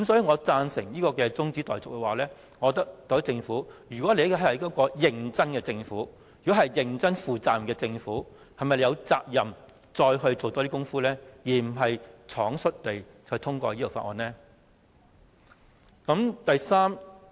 我贊成這項中止待續議案，若特區政府是一個認真而負責任的政府，是否應再多做工夫，而不是倉卒地通過《條例草案》？